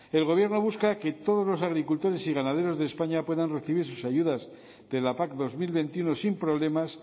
el gobierno busca que todos los agricultores y ganaderos de españa puedan recibir sus ayudas de la pac dos mil veintiuno sin problemas